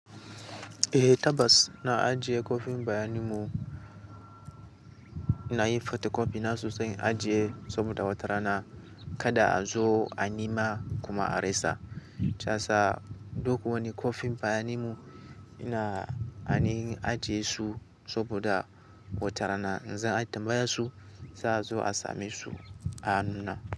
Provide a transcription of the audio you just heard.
Eh Tabas, na ajiye kwafin bayanimu, na yi photocopy nasu sa in ajiye saboda watarana kada a zo a nima kuma a resa. Shiya sa, duk wani kwafin bayanimu ina anin ajiye su saboda watarana in za a tambaya su, za a zo a same su a nunna.